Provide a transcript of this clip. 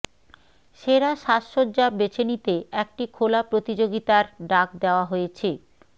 সেরা সাজসজ্জা বেছে নিতে একটি খোলা প্রতিযোগিতার ডাক দেওয়া হয়েছে